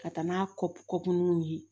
Ka taa n'a kɔ kunnu ye